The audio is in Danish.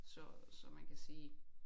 Så så man kan sige